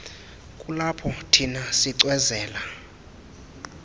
kulapho thina sicwezela